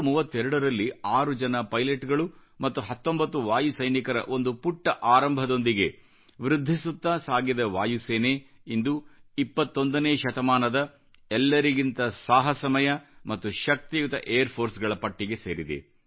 1932 ರಲ್ಲಿ 6 ಜನ ಪೈಲಟ್ಗಂಳು ಮತ್ತು 19 ವಾಯು ಸೈನಿಕರ ಒಂದು ಪುಟ್ಟ ಆರಂಭದೊಂದಿಗೆ ವೃದ್ಧಿಸುತ್ತಾ ಸಾಗಿದ ವಾಯುಸೇನೆ ಇಂದು 21 ನೇ ಶತಮಾನದ ಎಲ್ಲರಿಗಿಂತ ಸಾಹಸಮಯ ಮತ್ತು ಶಕ್ತಿಯುತ ಏರ್ ಫೋರ್ಸ್ಗಇಳ ಪಟ್ಟಿಗೆ ಸೇರಿದೆ